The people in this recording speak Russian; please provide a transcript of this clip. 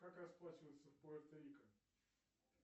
как расплачиваться в пуэрто рико